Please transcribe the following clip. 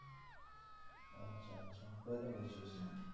কোথায় করছিস?